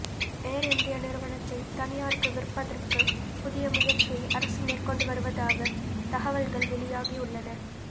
ஏர் India நிறுவனத்தை தனியாருக்கு விற்பதற்கு புதிய முயற்சியை அரசு மேற்கொண்டு வருவதாக தகவல்கள் வெளியாகியுள்ளன